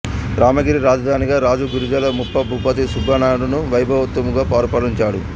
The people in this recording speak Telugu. రామగిరి రాజధానిగా రాజు గురిజాల ముప్పభూపతి సబ్బినాడును వైభవోపేతముగా పరిపాలించాడు